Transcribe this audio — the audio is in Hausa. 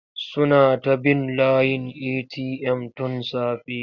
Suna ta bin layin eti'yam tun safe.